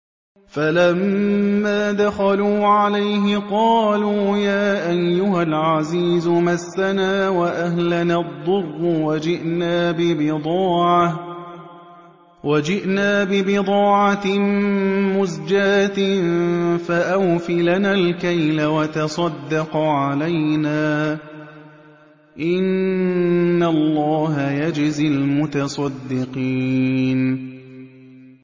فَلَمَّا دَخَلُوا عَلَيْهِ قَالُوا يَا أَيُّهَا الْعَزِيزُ مَسَّنَا وَأَهْلَنَا الضُّرُّ وَجِئْنَا بِبِضَاعَةٍ مُّزْجَاةٍ فَأَوْفِ لَنَا الْكَيْلَ وَتَصَدَّقْ عَلَيْنَا ۖ إِنَّ اللَّهَ يَجْزِي الْمُتَصَدِّقِينَ